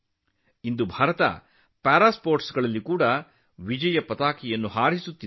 ಇಂದು ಭಾರತವೂ ಪ್ಯಾರಾ ಸ್ಪೋರ್ಟ್ಸ್ನಲ್ಲಿ ಯಶಸ್ಸಿನ ಪತಾಕೆಯನ್ನು ಹಾರಿಸುತ್ತಿದೆ